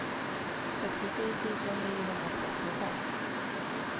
sextiosju tusen niohundratrettiofem